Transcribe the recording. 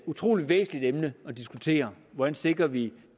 utroligt væsentligt emne at diskutere hvordan sikrer vi